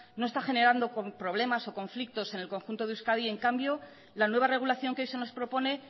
no está generando problemas o conflictos en el conjunto de euskadi en cambio la nueva regulación que se nos propone